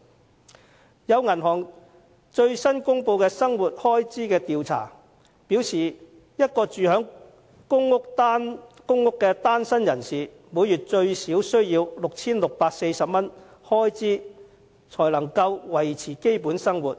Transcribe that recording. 根據一家銀行最新公布的生活開支調查，一名住在公屋的單身人士，每月最少需 6,640 元開支才能維持基本生活，